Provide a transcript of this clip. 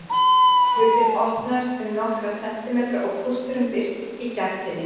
Hurðin opnaðist um nokkra sentimetra og kústurinn birtist í gættinni.